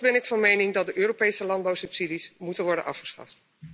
Voorts ben ik van mening dat de Europese landbouwsubsidies moeten worden afgeschaft.